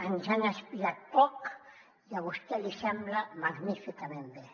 ens han espiat poc i a vostè li sembla magníficament bé